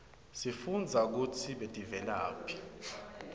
sifunbza kutsi tiveladhi